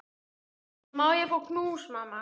Má ég fá knús, mamma?